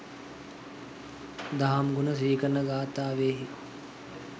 දහම් ගුණ සිහි කරන ගාථාවෙහි